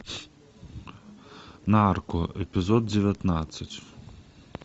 нарко эпизод девятнадцать